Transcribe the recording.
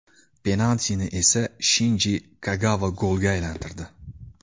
Penaltini esa Shinji Kagava golga aylantirdi.